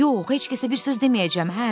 Yox, heç kəsə bir söz deməyəcəm.